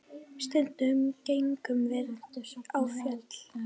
Stundum gengum við á fjöll.